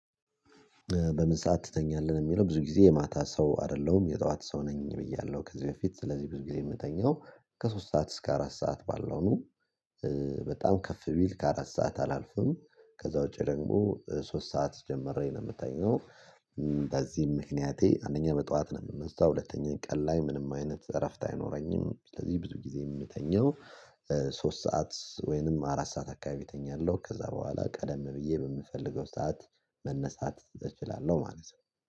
በምን ሰዓት ትተኛለህ? የሚለው ብዙ ጊዜ የማታ ሰው አይደለሁም የጠዋት ሰው ነኝ ብያለሁ ከዚህ በፊት ስለዚህ ብዙ ጊዜ የምተኛው ከሶስት ሰዓት እስከ አራት ሰዓት ባለው ነው። በጣም ከፍ ቢል ከአራት ሰዓት አላልፍም ከዛ ውጪ ደግሞ ሶስት ሰዓት ጀምሬ ነው የምተኘው። በዚህም ምክንያቴ አንደኛ በጧት ነው የምንሳው ሁለተኛ ቀን ላይ ምንም አይነት እረፍት አይኖረኝም ስለዚህ ብዙ ጊዜ የምተኘው ሶስት ሰዓት ወይንም አራት ሰዓት አካባቢ እተኛለሁ። ከዛ በኋላ ቀደም ብዬ በምፈልገው ሰዓት መነሳት እችላለሁ ማለት ነው